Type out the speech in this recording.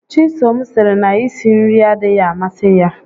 Chisom sịrị na i si nri adịghị amasị ya